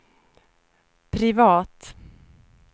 privat